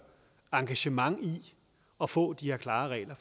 engagement i at få de her klare regler